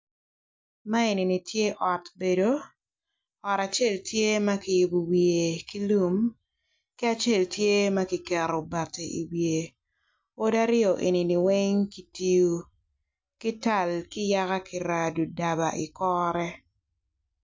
Man eni ni tye ot bedo otacel tye ma kiyubo wiye ki lum ki acel tye ma kiketo bati i wiye odi aryo eni weni weng ki tiyo ki tal kayaba ki rwado daba i kore.